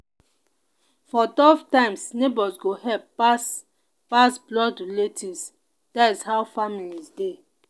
for tough times neighbors go help pass pass blood relatives that’s how family dey.